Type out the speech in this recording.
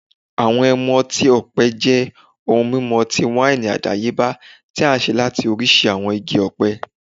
Awọn ẹmu ọti-ọpẹ jẹ ohun mimu ọti-waini adayeba ti a ṣe lati oriṣi awọn igi ọpẹ,